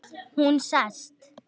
Hún sest.